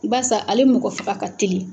Basa ale mɔgɔ faga ka teli.